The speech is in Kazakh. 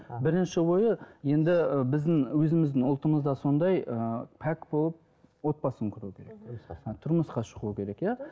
ы бірінші ойы енді і біздің өзіміздің ұлтымызда сондай ыыы пәк болып отбасын кұру деген тұрмысқа шығу керек иә